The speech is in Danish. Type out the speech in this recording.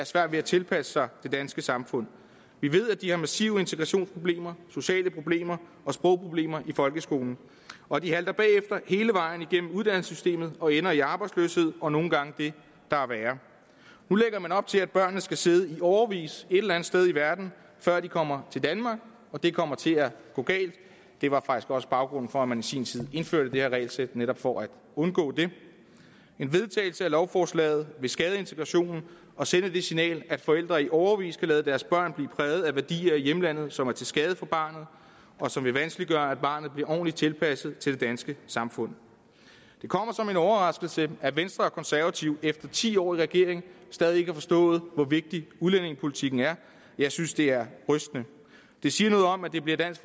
svært ved at tilpasse sig det danske samfund vi ved at de har massive integrationsproblemer sociale problemer og sprogproblemer i folkeskolen og de halter bagefter hele vejen igennem uddannelsessystemet og ender i arbejdsløshed og nogle gange det der er værre nu lægger man op til at børnene skal sidde i årevis et eller andet sted i verden før de kommer til danmark og det kommer til at gå galt det var faktisk også baggrunden for at man i sin tid indførte det her regelsæt netop for at undgå det en vedtagelse af lovforslaget vil skade integrationen og sende det signal at forældre i årevis kan lade deres børn blive præget af værdier i hjemlandet som er til skade for barnet og som vil vanskeliggøre at barnet bliver ordentligt tilpasset til det danske samfund det kommer som en overraskelse at venstre og konservative efter ti år i regering stadig ikke har forstået hvor vigtig udlændingepolitikken er jeg synes det er rystende det siger noget om at det bliver dansk